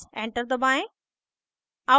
enter दबाएं